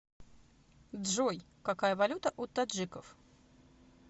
джой какая валюта у таджиков